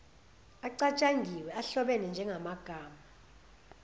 acatshangiwe ahlobene njengamagama